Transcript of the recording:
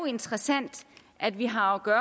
interessant at vi har at